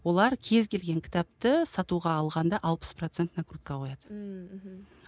олар кез келген кітапты сатуға алғанда алпыс процент накрутка қояды ммм мхм